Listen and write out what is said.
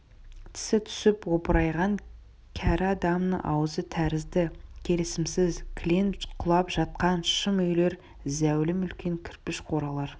тісі түсіп опырайған кәрі адамның аузы тәрізді келісімсіз кілең құлап жатқан шым үйлер зәулім үлкен кірпіш қоралар